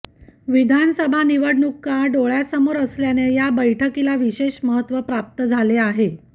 विधानसभा निवडणुका डोळ्यासमोर असल्याने या बैठीकीला विशेष महत्व प्राप्त झाले आहे